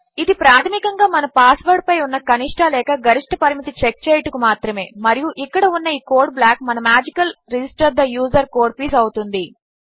ఇది ప్రాధమికంగా మన పాస్వర్డ్ పై ఉన్న కనిష్ఠ లేక గరిష్ఠ పరిమితి చెక్ చేయుటకు మాత్రమే మరియు ఇక్కడ ఉన్న ఈ కోడ్ బ్లాక్ మన మ్యాజికల్ రిజిస్టర్ తే యూజర్ కోడ్ పీస్ అవుతుంది